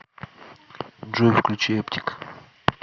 джой включи эптик